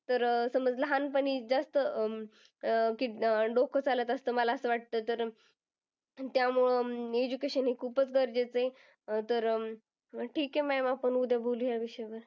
तर अह समज लहानपणी जास्त अं डोकं चालत असतं. मला असं वाटतं तर अं त्यामुळे education हे खूपच गरजेचं आहे. तर, अं ठीक आहे ma'am आपण उद्या बोलू या विषयावर.